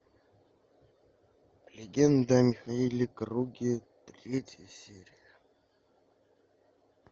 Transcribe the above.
легенда о михаиле круге третья серия